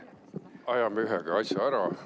Ajame ühega asja ära.